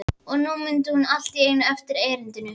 Og nú mundi hún allt í einu eftir erindinu.